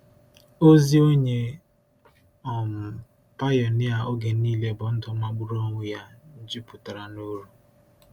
Ozi onye um pionia oge niile bụ ndụ magburu onwe ya, jupụtara n’uru.